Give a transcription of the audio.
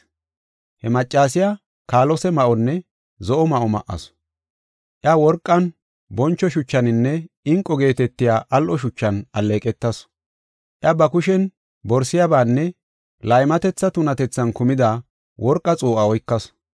He maccasiya kaalose ma7onne zo7o ma7o ma7asu; iya worqan, boncho shuchaninne inqo geetetiya al7o shuchan alleeqetasu. Iya ba kushen borsiyabaanne laymatetha tunatethan kumida worqa xuu7a oykasu.